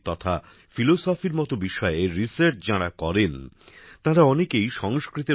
তথা দর্শনের মত বিষয়ে গবেষণা যাঁরা করেন তাঁরা অনেকেই সংস্কৃতের